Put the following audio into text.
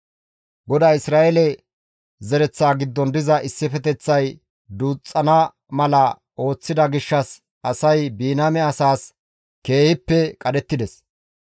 GODAY Isra7eele zereththa giddon diza issifeteththay duuxxana mala ooththida gishshas asay Biniyaame asaas keehippe qadhettides.